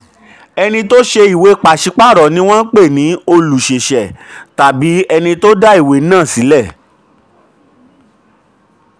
ẹni tó ṣe ìwé pàṣípààrọ̀ ni wọ́n ń pè ní olùṣèṣẹ̀ tàbí ẹni tó dá ìwé náà sílẹ̀.